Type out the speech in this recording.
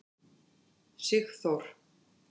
Sigþór